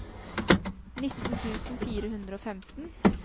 nitten tusen fire hundre og femten